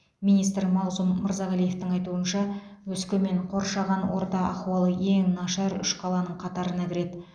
министр мағзұм мырзағалиевтың айтуынша өскемен қоршаған орта ахуалы ең нашар үш қаланың қатарына кіреді